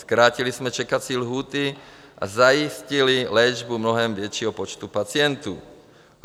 Zkrátili jsme čekací lhůty a zajistili léčbu mnohem většího počtu pacientů.